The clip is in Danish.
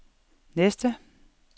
næste